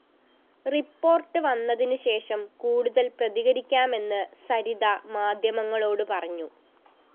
report വന്നതിനുശേഷം കൂടുതല്‍ പ്രതികരിക്കാമെന്ന് സരിത മാധ്യമങ്ങളോട് പറഞ്ഞു